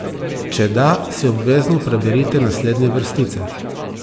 Če da, si obvezno preberite naslednje vrstice!